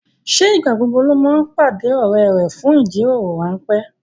Ṣé ìgbà gbogbo ló máa ń pàdé ọrẹ rẹ fún ìjíròrò ránpẹ́